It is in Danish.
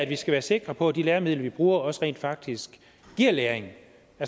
vi skal være sikre på at de læremidler vi bruger også rent faktisk giver læring